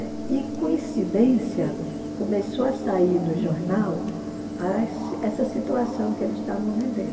E coincidência, começou a sair no jornal essa situação que eles estavam vivendo.